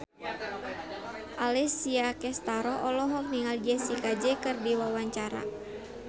Alessia Cestaro olohok ningali Jessie J keur diwawancara